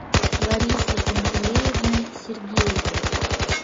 ларисой пантелеевной сергеевой